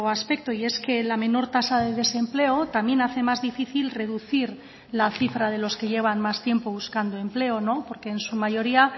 aspecto y es que la menor tasa de desempleo también hace más difícil reducir la cifra de los que llevan más tiempo buscando empleo porque en su mayoría